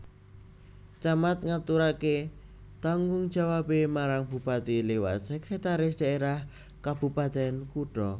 Camat ngaturaké tanggung jawabé marang bupati liwat Sekretaris Daerah Kabupatèn Kutha